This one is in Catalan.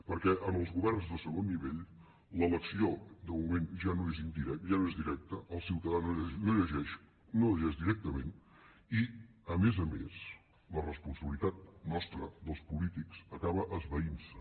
perquè en els governs de segon nivell l’elecció de moment ja no és directa el ciutadà no elegeix directament i a més a més la responsabilitat nostra dels polítics acaba esvaintse